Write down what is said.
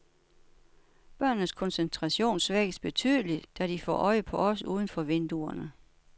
Børnenes koncentration svækkes betydeligt, da de får øje på os uden for vinduerne.